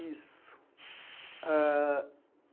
Isso. aaah